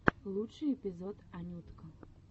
лучший эпизод анютка